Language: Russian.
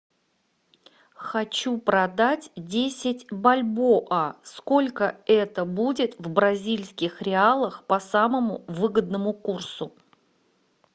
хочу продать десять бальбоа сколько это будет в бразильских реалах по самому выгодному курсу